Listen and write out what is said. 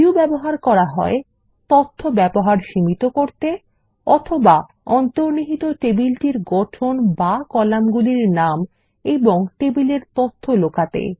view ব্যবহার করা হয় তথ্য ব্যবহার সীমিত করতে অথবা অন্তর্নিহিত টেবিলটির গঠন বা কলামগুলি নাম এবং টেবিল এর তথ্য লুকাতে